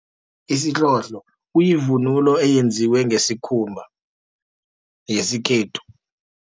Isihlohlo, kuyivunulo eyenziwe ngesikhumba, yesikhethu.